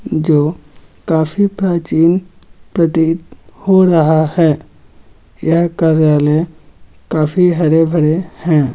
जो काफी प्राचीन प्रतीत हो रहा है यह कार्यालय काफी हरे भरे हैं ।